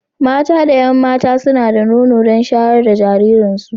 Mata da 'yan mata suna da nono don shayar da jirajiransu.